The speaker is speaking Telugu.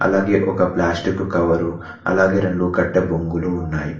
అలాగే ఒక ప్లాస్టిక్ కవర్ అలాగే రెండు కట్ట బొంగులు ఉన్నాయి.